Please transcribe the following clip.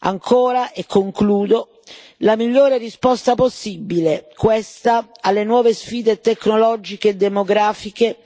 Ancora, e concludo, la migliore risposta possibile, questa, alle nuove sfide tecnologiche e demografiche